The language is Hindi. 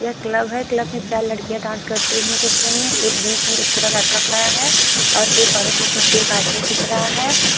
यह क्लब है क्लब में चार लड़कियां डांस करते हुए दिख रही हैं एक बीच में एक छोटा लड़का खड़ा है और एक औरत के पीछे एक आदमी दिख रहा है।